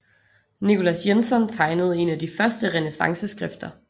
Nicolas Jenson tegnede en af de første renæssanceskrifter